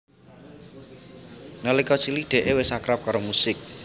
Nalika cilik Dee wis akrab karo musik